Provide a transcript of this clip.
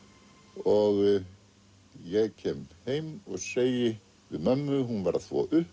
og ég kem heim og segi við mömmu hún var að þvo upp